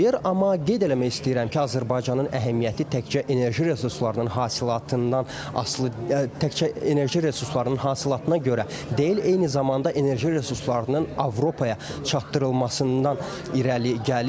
Amma qeyd eləmək istəyirəm ki, Azərbaycanın əhəmiyyəti təkcə enerji resurslarının hasilatından asılı, təkcə enerji resurslarının hasilatına görə deyil, eyni zamanda enerji resurslarının Avropaya çatdırılmasından irəli gəlir.